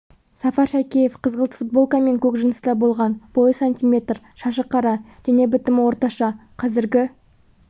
сафар шәкеев қызғылт футболка мен көк джинсыда болған бойы сантиметр шашы қара дене бітімі орташа қазіргі